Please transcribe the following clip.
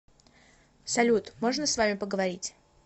салют можно с вами поговорить